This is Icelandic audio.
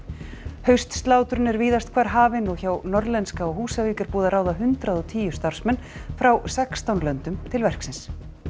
haustslátrun er víðast hvar hafin og hjá Norðlenska á Húsavík er búið að ráða hundrað og tíu starfsmenn frá sextán löndum til verksins